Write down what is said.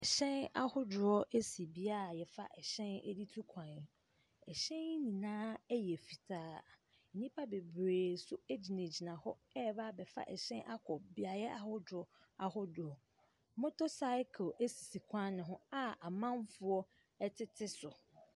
Ɛhyɛn ahodoɔ esi beaeɛ yɛfa ɛhyɛn ɛde tu kwan. Ɛhyɛn yi nyinaa ɛyɛ fitaa. Nnipa bebree nso gyinagyina hɔ ɛrebɛfa ɛhyɛn no bi akɔ beaeɛ ahodoɔ ahodoɔ. Motor cycle esisi kwan no ho a amanfoɔ ɛtete so.